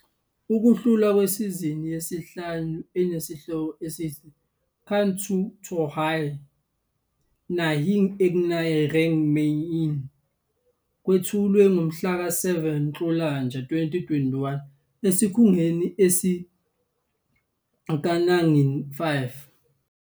Ukuhlulwa kwesizini yesihlanu enesihloko esithi "Kuch Toh Hai- Naagin Ek Naye Rang Mein" kwethulwe ngomhlaka 7 Nhlolanja 2021 esikhundleni sikaNaagin 5.